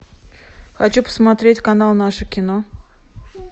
хочу посмотреть канал наше кино